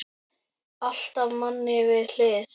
Alltaf manni við hlið.